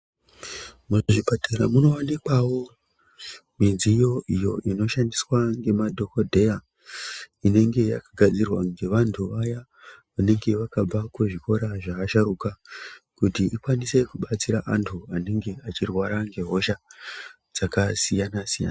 Muzvipatara munowanikwavo midziyo iyo inoshandiswa ngemadhokodheya inenge yakagadzirwa ngevantu vaya vanenge vakabva kuzvikora zvevasharuka kuti ikwanise kubatsira vantu vanenge vachirwara ngehosha dzakasiyana-siyana.